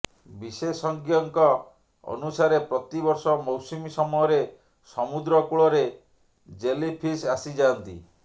ବିଶେଷଜ୍ଞଙ୍କ ଅନୁସାରେ ପ୍ରତିବର୍ଷ ମୈାସୁମୀ ସମୟରେ ସମୁଦ୍ର କୂଳରେ ଜେଲିଫିସ୍ ଆସିଯାଆନ୍ତି